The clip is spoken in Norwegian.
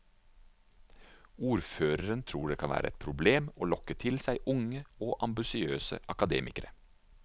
Ordføreren tror det kan være et problem å lokke til seg unge og ambisiøse akademikere.